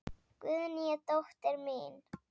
Guðný er dóttir mín.